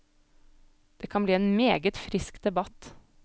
Det kan bli en meget frisk debatt.